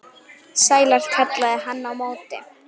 Sælar, kallaði hann á móti.